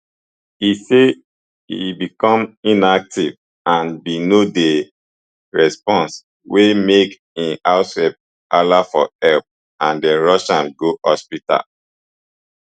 e say e become inactive and bin no dey respond wey make im househelp hala for help and dem rush am go hospital